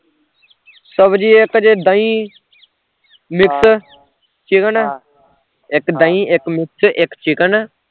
ਸਬਜ਼ੀ ਇੱਕ ਚ ਦਹੀਂ mix chicken ਇੱਕ ਦਹੀਂ, ਇੱਕ mix ਇੱਕ chicken